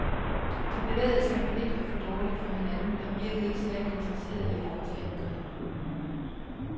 De bevægede sig for lidt og for dårligt for hinanden og virkede ikke særligt interesserede i at gå til angreb.